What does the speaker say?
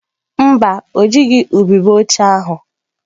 Mba, o jighị ubube ochie ahụ.